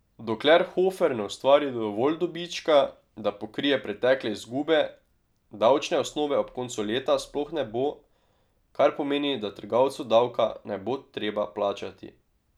Dokler Hofer ne ustvari dovolj dobička, da pokrije pretekle izgube, davčne osnove ob koncu leta sploh ne bo, kar pomeni, da trgovcu davka ne bo treba plačati.